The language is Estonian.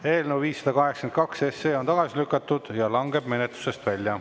Eelnõu 582 on tagasi lükatud ja langeb menetlusest välja.